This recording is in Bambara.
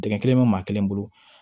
Dingɛ kelen bɛ maa kelen bolo